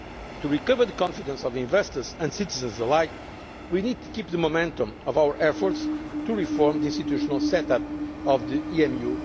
themselves. To recover the confidence of investors and citizens alike, we need to maintain the momentum of our efforts to reform the institutional set up